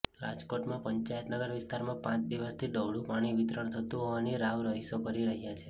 રાજકોટમાં પંચાયતનગર વિસ્તારમાં પાંચ દિવસથી ડહોળુ પાણી વિતરણ થતું હોવાની રાવ રહીશો કરી રહ્યા છે